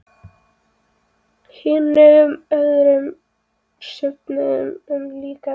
Hinum öðrum söfnum er líkt farið.